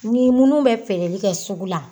Ni minnu bɛ feereli kɛ sugu la